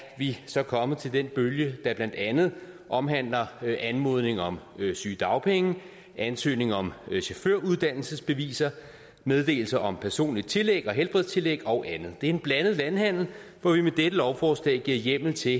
vi så kommet til den bølge der blandt andet omhandler anmodninger om sygedagpenge ansøgning om chaufføruddannelsesbeviser meddelelse om personligt tillæg og helbredstillæg og andet det er en blandet landhandel hvor vi med dette lovforslag giver hjemmel til